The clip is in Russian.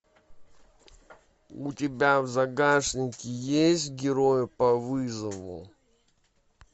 у тебя в загашнике есть герои по вызову